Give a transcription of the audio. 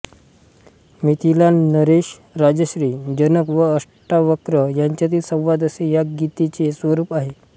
मिथिला नरेश राजर्षी जनक व अष्टावक्र यांच्यातील संवाद असे या गीतेचे स्वरूप आहे